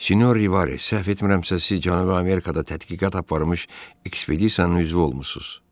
Sinor Rivez, səhv etmirəmsə, siz Cənubi Amerikada tədqiqat aparmış ekspedisiyanın üzvü olmusunuz.